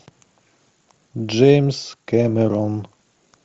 джеймс кэмерон